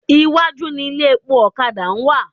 Iwájú ni ilé epo ọ̀kadà wà.